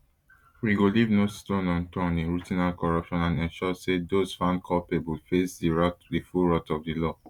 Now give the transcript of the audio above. we go leave no stone unturned in rooting out corruption and ensure say dose found culpable face di full wrath of di law